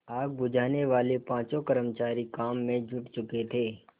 आग बुझानेवाले पाँचों कर्मचारी काम में जुट चुके थे